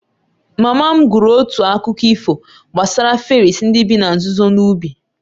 Mama m gụrụ otu akụkọ ifo gbasara fèris ndị bi na nzuzo n'ubi